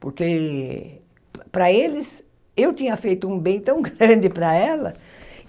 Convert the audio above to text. Porque, para eles, eu tinha feito um bem tão grande para ela.